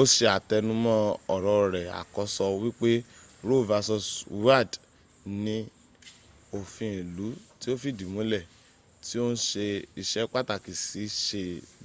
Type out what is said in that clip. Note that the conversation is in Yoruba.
o se atenumo oro re akoso wipe roe v wade ni ofin ilu ti o fidi mule ti o n se ise pataki si se